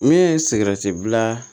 Min ye sigɛrɛti bila